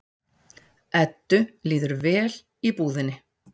Eddu líður vel í íbúðinni.